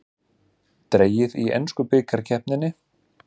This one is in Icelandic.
Dregið í ensku bikarkeppninni